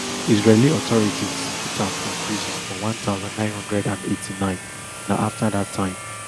israeli authorities put am for prison for one thousand, nine hundred and eighty-nine na afta dat time